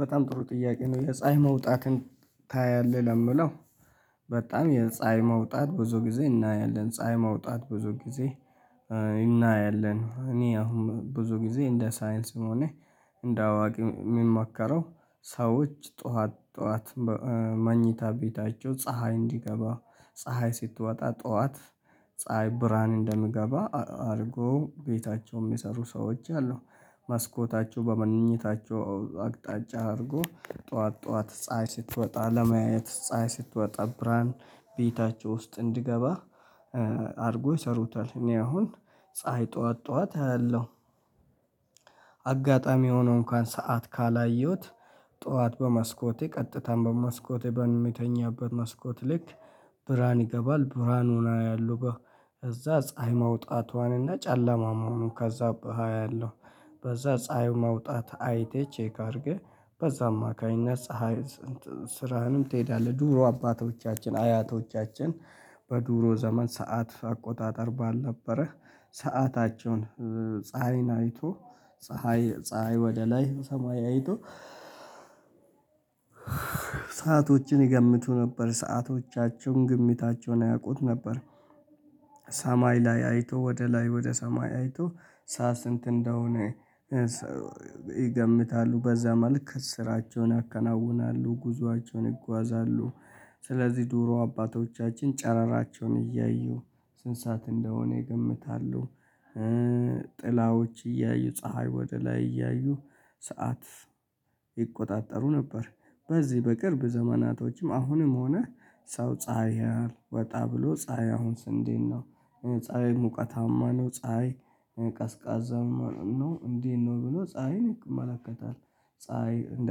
በጣም ጥሩ ጥያቄ ነው የፀሀይ መውጣትን ታያለህ ለሚለው? በጣም የፀሀይ መውጣት ብዙ ጊዜ እናያለን ፀሀይ መውጣት ብዙ ጊዜ እናያለን። እኔ አሁን ብዙ ጊዜ እንደ ሳይንስም ሆነ እንደ አዋቂ የሚመከረው ሰዎች ጠዋት ጠዋት መኝታ ቤታቸው ፀሀይ እንዲገባ ፀሀይ ስትወጣ ጠዋት ፀሀይ ብርሃን እንደምገባ አድርጎ ቤታቸውም የሰሩ ሰዎች አሉ። መስኮታቸው በመኝታቸው አቅጣጫ አድርጎ ጠዋት ጠዋት ፀሀይ ስትወጣ ለማየት ፀሀይ ስትወጣ ብርሃን ቤታቸው ውስጥ እንዲገባ አድርጎ ይሰሩታል። እኔ አሁን ፀሀይ ጠዋት ጠዋት አያለው። አጋጣሚ ሆኖ እንኳን ሰዓት ካላየሁት ጠዋት በመስኮቴ ቀጥታም በመስኮቴ በሚተኛበት መስኮት ልክ ብርሃን ይገባል ብርሃኑን አያለሁ። በዛ ፀሀይ መውጣቷንና ጨለማ መሆኑን ከዛ አያለው። በዛ ፀሀይ መውጣት አይተህ ቼክ አድርገህ በዛ አማካኝነት ፀሀይ ስራህንም ትሄዳለህ። ድሮ አባቶቻችን አያቶቻችን በድሮ ዘመን ሰዓት አቆጣጠር ባልነበረ ሰአታቸውን ፀሀይን አይቶ ፀሀይ ፀሀይ ወደ ላይ ሰማይ አይተው ሰአቶችን ይገምቱ ነበር ሰአቶቻቸውን ግምታቸውን ያውቁት ነበር። ሰማይ ላይ አይቶ ወደ ላይ ወደ ሰማይ አይቶ ሰዓት ስንት እንደሆነ? ይገምታሉ በዛ መልክ ስራቸውን ያከናውናሉ ጉዞአቸውን ይጓዛሉ። ስለዚህ ድሮ አባቶቻችን ጨረራቸውን እያዩ ስንት ሰዓት እንደሆነ ይገምታሉ። ጥላዎች እያዩ ፀሀይ ወደ ላይ እያዩ ሰዓት ይቆጣጠሩ ነበር። በዚህ በቅርብ ዘመናቶችም አሁንም ሆነ ሰው ፀሀይ ያያል ወጣ ብሎ ፀሀይ አሁንስ እንዴት ነው? ፀሀይ ሙቀታማ ነው ፀሀይ ቀዝቃዛ ማለው ነው እንዴት ነው ብሎ ፀሀይን ይመለከታል። ፀሀይ እንደ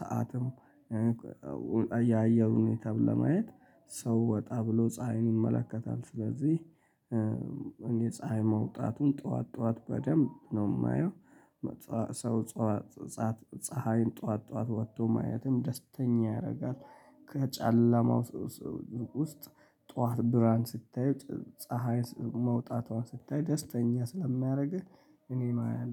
ሰዓትም። ያአየሩን ሁኔታምለማየት ሰው ወጣ ብሎ ፀሀይንን ይመለከታል። ስለዚህ የፀሀይ መውጣቱን ጠዋት ጠዋት በደንብ ነው የማየው። ሰው ፀሀይን ጠዋት ጠዋት ወጥቶ ማየትም ደስተኛ ያደርጋል። ከጨለማው ውስጥ ጠዋት ብርሃን ስታይ ፀሀይ መውጣቷን ስታይ ደስተኛ ስለሚያደርግህ እኔ አያለሁ